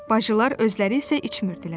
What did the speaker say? Bacılar özləri isə içmirdilər.